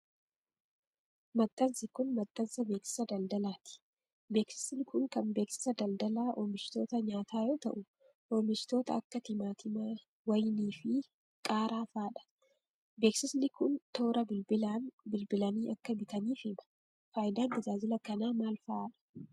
Maxxansi kun, maxxansa beeksisa daldalaati. Beeksisni kun, kan beeksisa dldalaa oomishoota nyaataa yoo ta'u, oomishoota akka timaatimaa, wayinii, fi qaaraa faa dha. Beeksisni kun, toora bilbilaan bilbilanii akka bitaniif hima. Faayidaan tajaajila kanaa maal faa dha?